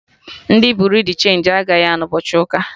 Ndị Buriu di chenji agaghị anọ ụbọchị ụka